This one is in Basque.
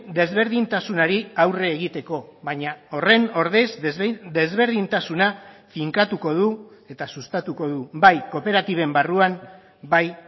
desberdintasunari aurre egiteko baina horren ordez desberdintasuna finkatuko du eta sustatuko du bai kooperatiben barruan bai